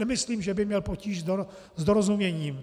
Nemyslím, že by měl potíž s dorozuměním.